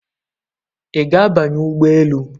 Ị ga-abanye ụgbọ elu?